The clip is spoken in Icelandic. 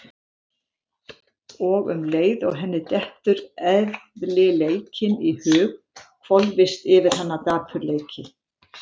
Og um leið og henni dettur eðlileikinn í hug hvolfist yfir hana dapurleiki.